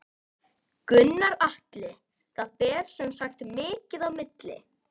Gunnar Atli: Það ber sem sagt mikið á milli?